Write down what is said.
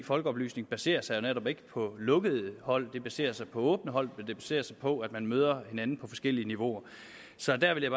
folkeoplysning baserer sig jo netop ikke på lukkede hold det baserer sig på åbne hold og det baserer sig på at man møder hinanden på forskellige niveauer så der vil jeg